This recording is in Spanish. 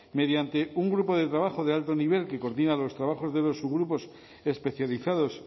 mediante un grupo de trabajo de alto nivel que coordinar los trabajos de los subgrupos especializados